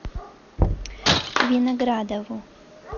виноградову